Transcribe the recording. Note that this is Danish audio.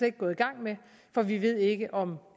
ikke gået i gang med for vi ved ikke om